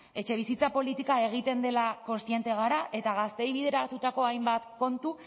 etxebizitza politika egiten dela kontzienteak gara eta gazteei bideratutako hainbat kontu